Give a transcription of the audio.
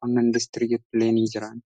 qonnan industirii illee ni jira.